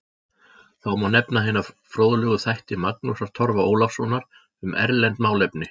Þá má nefna hina fróðlegu þætti Magnúsar Torfa Ólafssonar um erlend málefni